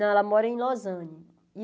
Não, ela mora em Lozane.